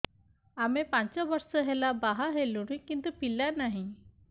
ଆମେ ପାଞ୍ଚ ବର୍ଷ ହେଲା ବାହା ହେଲୁଣି କିନ୍ତୁ ପିଲା ନାହିଁ